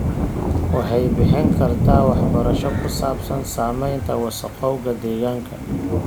Waxay bixin kartaa waxbarasho ku saabsan saamaynta wasakhowga deegaanka.